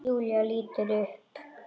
Júlía lítur upp.